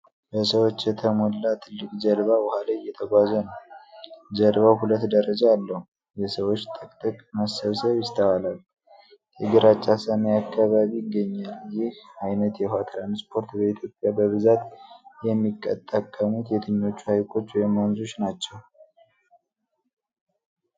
በሰዎች የተሞላ ትልቅ ጀልባ ውሃ ላይ እየተጓዘ ነው። ጀልባው ሁለት ደረጃ አለው። የሰዎች ጥቅጥቅ መሰባሰብ ይስተዋላል። የግራጫ ሰማይ አካባቢ ይገኛል። ይህ ዓይነት የውሃ ትራንስፖርት በኢትዮጵያ በብዛት የሚጠቀሙበት የትኞቹ ሐይቆች ወይም ወንዞች ናቸው?